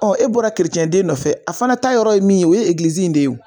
e bɔra kerecɛnden nɔfɛ a fana ta yɔrɔ ye min ye o ye in de ye wo.